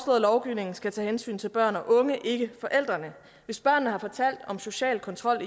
at lovgivningen skal tage hensyn til børn og unge ikke forældrene hvis børnene har fortalt om social kontrol